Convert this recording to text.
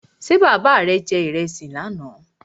Ṣé bàbá rè je ìrẹsì lánà?